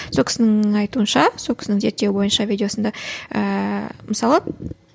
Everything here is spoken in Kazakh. сол кісінің айтуынша сол кісінің зерттеуі бойынша видеосында ііі мысалы